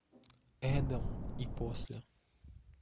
эдем и после